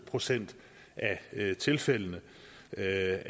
procent af tilfældene er